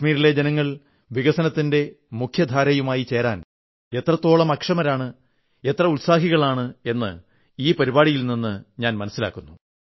കശ്മീരിലെ ജനങ്ങൾ വികസനത്തിന്റെ മുഖ്യധാരയുമായി ചേരാൻ എത്രത്തോളം അക്ഷമരാണ് എത്ര ഉത്സാഹികളാണ് എന്ന് ഈ പരിപാടിയിൽ നിന്ന് മനസ്സിലാകുന്നു